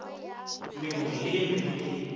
mengwe le ye mengwe ye